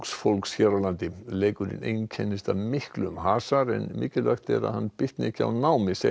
fólks hér á landi leikurinn einkennist af miklum hasar en mikilvægt er að hann bitni ekki á námi segja